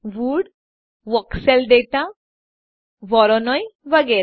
wood voxel data Voronoi વગેરે